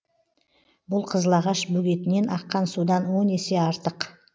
бұл қызыл ағаш бөгетінен аққан судан он есе артық